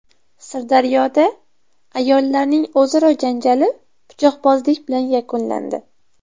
Sirdaryoda ayollarning o‘zaro janjali pichoqbozlik bilan yakunlandi.